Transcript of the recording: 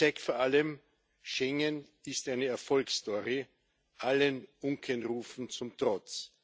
Er zeigt vor allem Schengen ist eine Erfolgsstory, allen Unkenrufen zum Trotz.